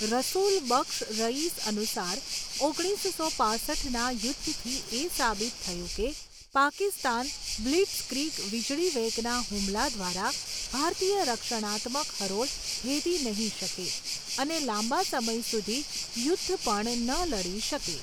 રસુલ બક્ષ રઇસ અનુસાર ઓગણીસો પાંસઠના યુદ્ધથી એ સાબિત થયું કે પાકિસ્તાન બ્લિટ્ઝક્રિગ વીજળીવેગના હુમલા દ્વારા ભારતીય રક્ષણાત્મક હરોળ ભેદી નહિ શકે અને લાંબા સમય સુધી યુદ્ધ પણ ન લડી શકે.